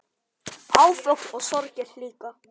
Áföll og sorgir líka.